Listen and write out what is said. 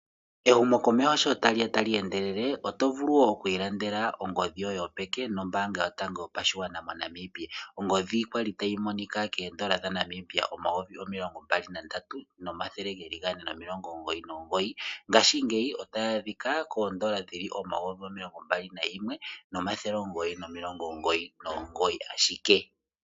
Ehumokomeho sho tali ya tali endelele oto vulu oku ilandela ongodhi yoye yopeke nombaanga yotango yopashigwana moNamibia ongodhi kwali tayi monika keendola dhaNamibia omayovi omimbali nandatu nomathele geli gane nomilongo omugoyi nomugoyi ngaashingeyi ota yi adhika koondola dhili omayovi omilongo mbali nayimwe nomathele omugoyi ashike.